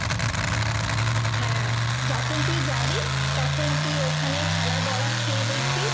হ্যাঁ যখন তুই যাবি, তখন তুই ওখানে ছানার বড়া খেয়ে দেখবি?